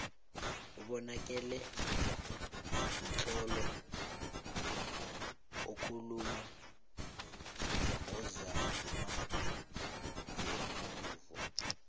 ubonakele mtlolo okuuluma nguzamagveluvo